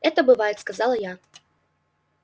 это бывает сказала я